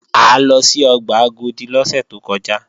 A lọ sí ọgbà Agodi lọ́sẹ̀ tó kọjá